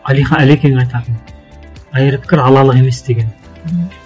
әлекең айтатын айыр пікір алалы емес деген мхм